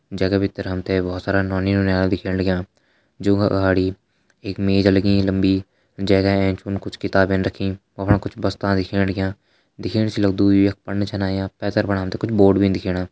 जैका भीतर हम त बहोत सारा नौनी नौनियाल दिखेण लग्यां जोंका अगाड़ी एक मेज लगीं लम्बी जैका एंच फुन कुछ किताबें रखीं बस्ता दिखेण लग्यां। दिखेण से लगदु यख यी पण छिन आयां पैथर फुणा हम त कुछ बोर्ड भी दिखेणा।